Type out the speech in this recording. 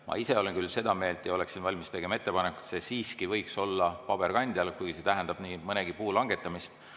Ma ise olen küll seda meelt ja oleksin valmis tegema ettepaneku, et see siiski võiks olla ka paberkandjal, kuigi see tähendab nii mõnegi puu langetamist.